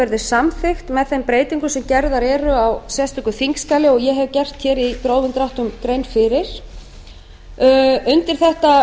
verði samþykkt með þeim breytingum sem gerðar eru á sérstöku þingskjali og ég hef gert hér í grófum dráttum grein fyrir undir þetta